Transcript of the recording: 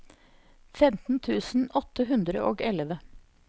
femten tusen åtte hundre og elleve